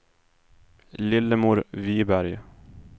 Lillemor Viberg